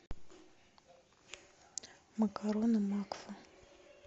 макароны макфа